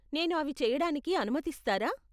నేను అవి చెయ్యడానికి అనుమతిస్తారా?